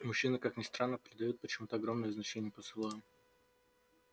мужчины как ни странно придают почему-то огромное значение поцелуям